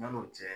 Yan'o cɛ